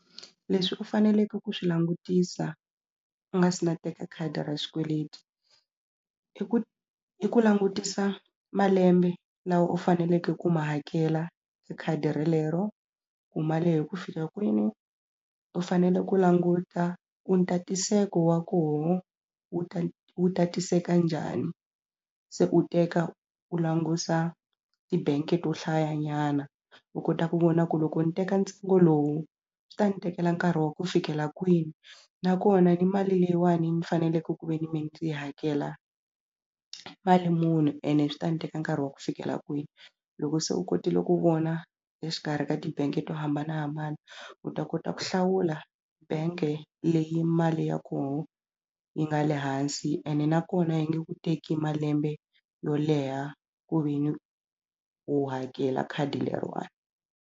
Leswi u faneleke ku swi langutisa u nga se na teka khadi ra xikweleti i ku i ku langutisa malembe lawa u faneleke ku ma hakela hi khadi relero ku ma lehe ku fika kwini u fanele ku languta ku ntatiseko wa koho wu wu tatiseka njhani se u teka u langusa ti-bank-e to hlayanyana u kota ku vona ku loko ni teka ntsengo lowu swi ta ni tekela nkarhi wa ku fikela kwini nakona ni mali leyiwani ni faneleke ku ve ni hakela mali muni ene swi ta ni teka nkarhi wa ku fikela kwini loko se u kotile ku vona exikarhi ka ti-bank-e to hambanahambana u ta kota ku hlawula bank-e leyi mali ya koho yi nga le hansi ene nakona yi nge ku teki malembe yo leha ku ve ni u hakela khadi leriwani.